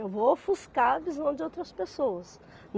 Eu vou ofuscar a visão de outras pessoas.